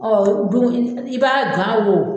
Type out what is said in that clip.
i b'a gan o